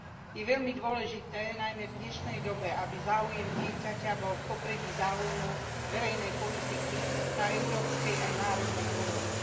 Je veľmi dôležité, najmä v dnešnej dobe, aby záujem dieťaťa bol v popredí záujmu verejnej politiky na európskej aj národnej úrovni.